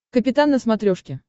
капитан на смотрешке